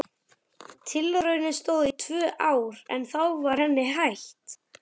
Tilraunin stóð í tvö ár en þá var henni hætt.